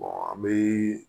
an bɛ